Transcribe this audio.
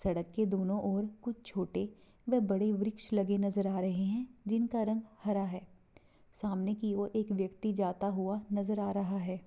सड़क के दोनों और कुछ छोटे व बड़े वृक्ष लगे नज़र आ रहे हैं जिनका रंग हरा है| सामने की और एक व्यक्ति जाता हुआ नज़र आ रहा है।